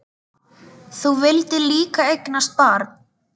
Þú vildir líka eignast barn.